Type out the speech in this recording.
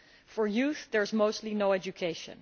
For youth, there is mostly no education.